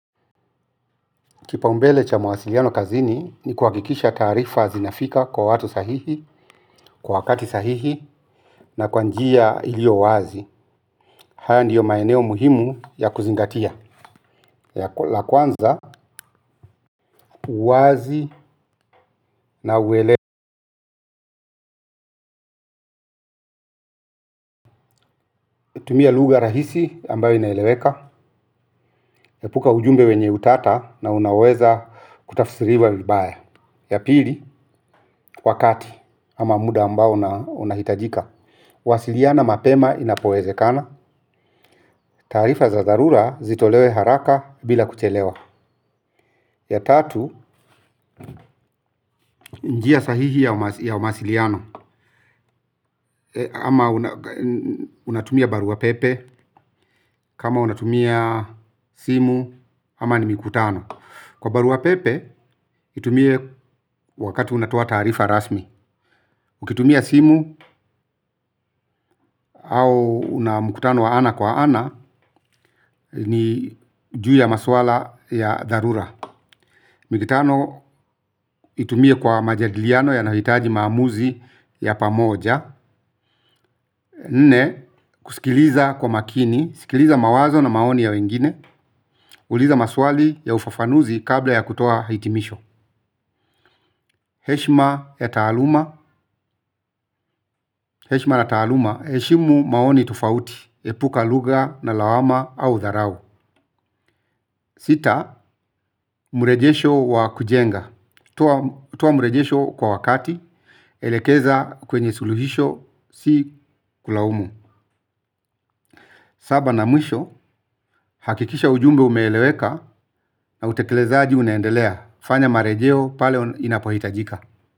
Kipaumbele cha mwasiliano kazini ni kuhakikisha taarifa zinafika kwa watu sahihi, kwa wakati sahihi, na kwa njia iliyo wazi. Haya ndiyo maeneo muhimu ya kuzingatia. La kwanza, uwazi na uelewa. Tumia lugha rahisi ambayo inaeleweka. Epuka ujumbe wenye utata na unaweza kutafsiriwa vibaya. Ya pili, wakati, ama muda ambayo unahitajika. Wasiliana mapema inapowezekana. Taarifa za dharura zitolewe haraka bila kuchelewa. Ya tatu, njia sahihi ya mawasiliano. Ama unatumia barua pepe, kama unatumia simu, ama ni mikutano. Kwa barua pepe, itumie wakati unatoa taarifa rasmi. Mkitumia simu au una mkutano wa ana kwa ana, ni juu ya masuala ya dharura. Mikutano itumie kwa majadiliano yanayohitaji maamuzi ya pamoja. Nne, kusikiliza kwa makini, sikiliza mawazo na maoni ya wengine. Uliza maswali ya ufafanuzi kabla ya kutoa hitimisho. Heshima ya taaluma. Heshima na taaluma, heshimu maoni tufauti epuka lugha na lawama au dharau. Sita, mrejesho wa kujenga, toa toa mrejesho kwa wakati. Elekeza kwenye suluhisho si kulaumu. Saba na mwisho hakikisha ujumbe umeeleweka. Na utekelezaji unaendelea. Fanya marejeo pale inapohitajika.